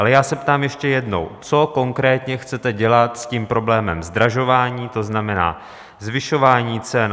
Ale já se ptám ještě jednou: Co konkrétně chcete dělat s tím problémem zdražování, to znamená, zvyšování cen?